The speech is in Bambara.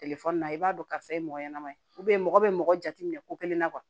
Telefɔni na i b'a dɔn karisa ye mɔgɔ ɲɛnɛma ye mɔgɔ bɛ mɔgɔ jate minɛ ko kelen na